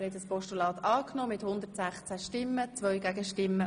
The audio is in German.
Sie haben das Postulat angenommen.